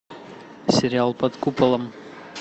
сериал под куполом